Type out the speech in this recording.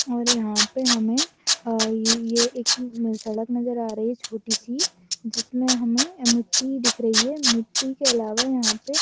और यहाँ पे हमें अ य ये एक सड़क नजर आ रही है छोटी-सी जिसमे हमें मिट्टी दिख रही है मिट्टी के अलावा यहाँ पे ----